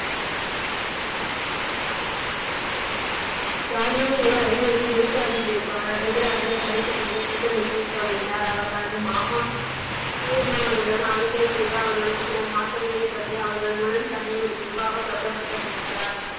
ராம் ராய் இதை அறிந்ததும் குரு சாகிப்பிற்காக எதிராக சதித்திட்டங்களை தீட்ட தொடங்கினார் அவர் தனது மாமா தீர்மானுடன் ஆலோசனை செய்தார் அவருடன் சில மாசான்களைக் கட்டி அவர்களின் மூலம் தன்னை ஒரு குருவாக பிரபலப்படுத்த முயன்றார்.